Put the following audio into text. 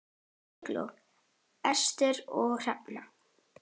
Eygló, Ester og Hrefna.